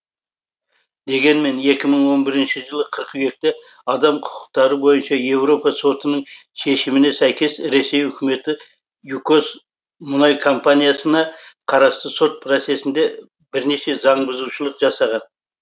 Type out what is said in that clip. дегенмен екі мың он бірінші жылы қыркүйекте адам құқықтары бойынша еуропа сотының шешіміне сәйкес ресей үкіметі юкос мұнай компаниясына қарасы сот процесінде бірнеше заңбұзушылық жасаған